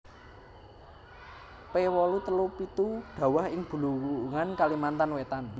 P wolu telu pitu dhawah ing Bulungan Kalimantan Wétan